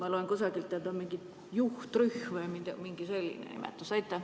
Ma lugesin kusagilt, et juhtrühm või mingi selline nimetus on sellel.